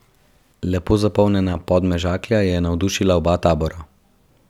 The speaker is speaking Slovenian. Lepo zapolnjena Podmežakla je navdušila oba tabora.